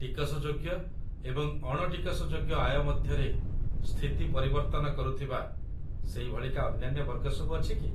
ଟିକସଯୋଗ୍ୟ ଏବଂ ଅଣ ଟିକସଯୋଗ୍ୟ ଆୟ ମଧ୍ୟରେ ସ୍ଥିତି ପରିବର୍ତ୍ତନ କରୁଥିବା ସେଇଭଳିକା ଅନ୍ୟାନ୍ୟ ବର୍ଗ ସବୁ ଅଛି କି?